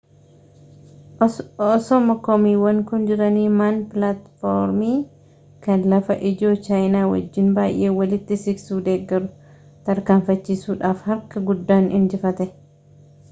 osooma komiiwwan kun jiranii ma'n pilaatformii kan lafa ijoo chaayinaa wajjin baayee walitti siqsuu deggeru tarkaanfachiisuusaaf harka guddaan injifate